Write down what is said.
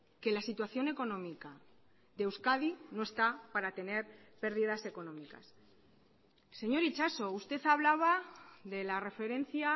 que la situación económica de euskadi no está para tener pérdidas económicas señor itxaso usted hablaba de la referencia